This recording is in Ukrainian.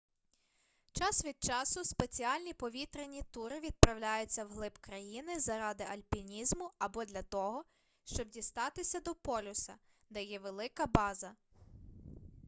час від часу спеціальні повітряні тури відправляються вглиб країни заради альпінізму або для того щоб дістатися до полюса де є велика база